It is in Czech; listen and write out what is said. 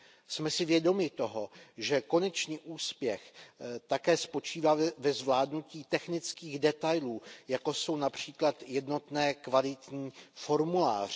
Jsem si vědomi toho, že konečný úspěch také spočívá ve zvládnutí technických detailů, jako jsou například jednotné kvalitní formuláře.